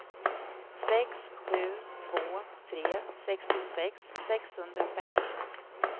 sex sju två tre sextiosex sexhundrafem